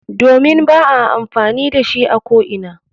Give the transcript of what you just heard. Domin ba a amfani da shi a ko'ina.